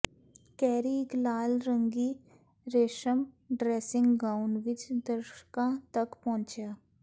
carry ਇੱਕ ਲਾਲ ਰੰਗੀ ਰੇਸ਼ਮ ਡਰੈਸਿੰਗ ਗਾਊਨ ਵਿੱਚ ਦਰਸ਼ਕਾਂ ਤੱਕ ਪਹੁੰਚਿਆ